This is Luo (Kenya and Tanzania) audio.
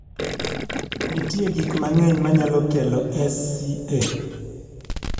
nitie gik mang'eny manyalo kelo SCA